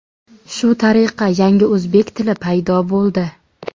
Shu tariqa yangi o‘zbek tili paydo bo‘ldi.